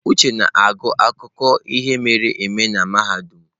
Uche na-agụ akụkọ ihe mere eme na mahadum.